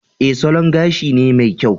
E, salon gashi ne mai kyau